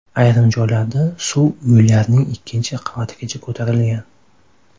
Ayrim joylarda suv uylarning ikkinchi qavatigacha ko‘tarilgan.